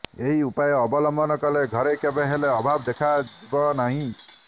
ଏହି ଉପାୟ ଅବଲମ୍ବନ କଲେ ଘରେ କେବେ ହେଲେ ଅଭାବ ଦେଖା ଜୀବନାହିଁ